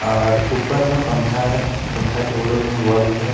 और ऊपर में पंखा है। पंखा के बगल में बल्ब है।